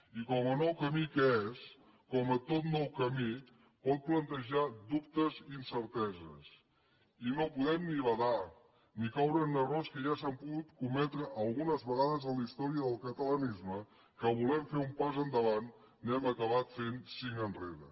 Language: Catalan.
i com a nou camí que és com a tot nou camí pot plantejar dubtes i incerteses i no podem ni badar ni caure en errors que ja s’han pogut cometre algunes vegades en la història del catalanisme que volent fer un pas endavant n’hem acabat fent cinc enrere